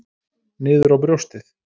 Niður á brjóstið.